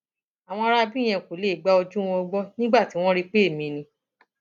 àwọn aráabí yẹn kò lè gba ojú wọn gbọ nígbà tí wọn rí i pé èmi ni